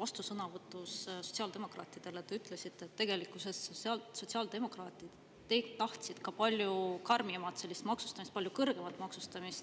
vastusõnavõtus sotsiaaldemokraatidele te ütlesite, et tegelikkuses tahtsid sotsiaaldemokraadid teilt palju karmimat maksustamist, palju kõrgemat maksustamist.